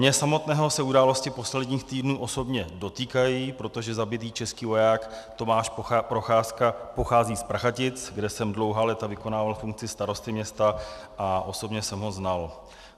Mě samotného se události posledních týdnů osobně dotýkají, protože zabitý český voják Tomáš Procházka pochází z Prachatic, kde jsem dlouhá léta vykonával funkci starosty města, a osobně jsem ho znal.